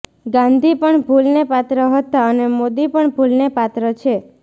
ગાંધી પણ ભૂલને પાત્ર હતા અને મોદી પણ ભૂલને પાત્ર છે